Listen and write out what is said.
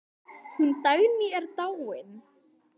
Hún Dagný er dáin.